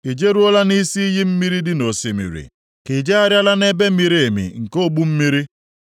“I jeruola nʼisi iyi mmiri dị nʼosimiri, ka i jegharịala nʼebe miri emi nke ogbu mmiri?